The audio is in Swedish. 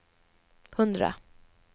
hundra